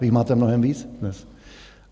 Vy jich máte mnohem víc dnes.